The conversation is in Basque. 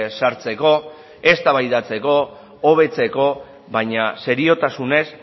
sartzeko eztabaidatzeko hobetzeko baina seriotasunez